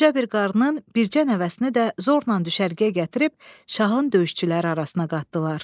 Qoca bir qarının bircə nəvəsini də zorla düşərgəyə gətirib şahın döyüşçüləri arasına qatdılar.